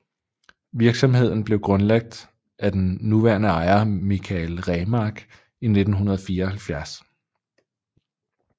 Virksomheden blev grundlagt af den nuværende ejer Michael Remark i 1974